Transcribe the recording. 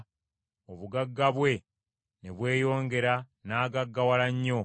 N’afuuka mugagga, obugagga bwe ne bweyongera n’agaggawala nnyo.